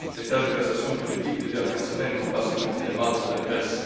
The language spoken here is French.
Les tergiversations politiques des dernières semaines n'ont pas seulement fait mal à la Grèce.